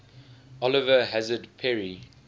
oliver hazard perry